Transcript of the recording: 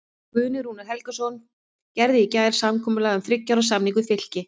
Guðni Rúnar Helgason gerði í gær samkomulag um þriggja ára samning við Fylki.